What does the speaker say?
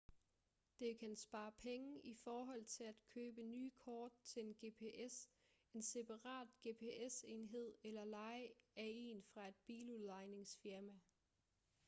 det kan spare penge i forhold til at købe nye kort til en gps en separat gps-enhed eller leje af en fra et biludlejningsfirma